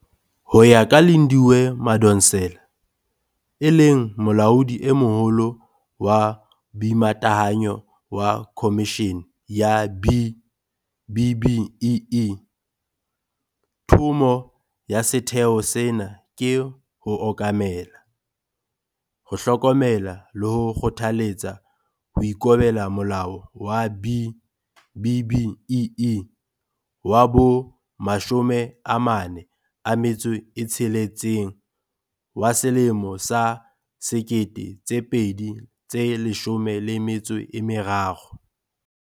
Ho ya ka Lindiwe Madonsela, e leng Molaodi e Moholo wa Boimatahanyo wa Khomishene ya B-BBEE, thomo ya setheo sena ke ho okamela, ho hlokomela le ho kgothaletsa ho ikobela Molao wa B-BBEE wa bo-46 wa selemo sa 2013.